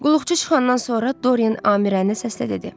Qulluqçu çıxandan sonra Doren Amirəni səslə dedi: